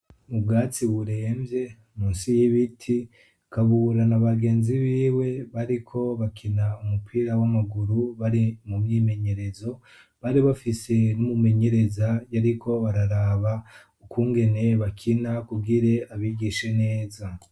Mu bwatsi buremvye, munsi y'ibiti, Kabura na bagenzi biwe bariko bakina umupira w'amaguru bari mu myimenyerezo, bari bafise n'umumenyereza, yariko araraba ukungene bakina kugire abigishe neza.